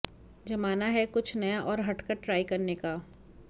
जमाना है कुछ नया और हटकर ट्राई करने का